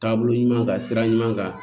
Taabolo ɲuman kan sira ɲuman kan